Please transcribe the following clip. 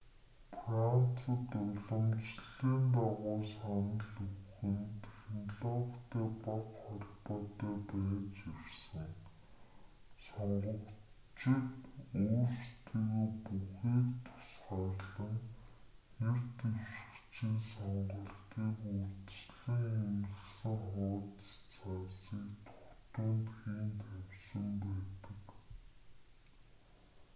францад уламжлалын дагуу санал өгөх нь технологитой бага холбоотой байж ирсэн сонгогчид өөрсдийгөө бүхээгт тусгаарлан нэр дэвшигчийн сонголтыг урьдчилан хэвлэсэн хуудас цаасыг дугтуйнд хийн тавьсан байдаг